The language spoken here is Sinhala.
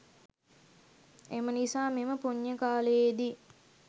එම නිසා මෙම පුණ්‍ය කාලයේදී